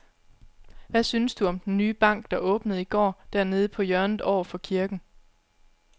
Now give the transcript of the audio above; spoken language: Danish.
Hvad synes du om den nye bank, der åbnede i går dernede på hjørnet over for kirken?